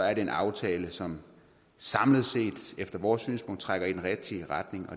er det en aftale som samlet set efter vores synspunkt trækker i den rigtige retning